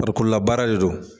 Farikolola baara de don.